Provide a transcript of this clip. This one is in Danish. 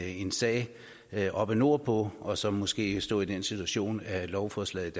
en sag sag oppe nordpå og så måske stå i den situation at lovforslaget